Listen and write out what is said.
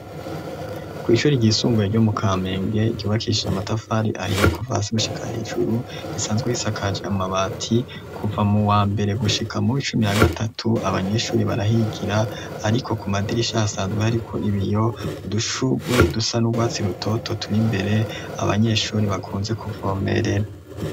kw'ishure ry'isumbuye ryo mu kamenge ryubakishije atafari ahiye kuva hasi gushika hejuru risanzwe risakaje amabati kuva mu wa mbere gushika muw' icumi na gatatu abanyeshure barahigira ariko ku madirisha hasanzwe hariko ibiyo udushurwe dusa n'ubwatsi rutoto turi imbere abanyeshure bakunze kuvomerera.